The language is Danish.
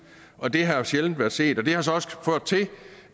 og det har jo sjældent været set det har så også ført til